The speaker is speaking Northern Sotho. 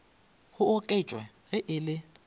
go oketšwa ge e le